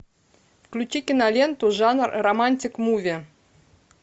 включи киноленту жанр романтик муви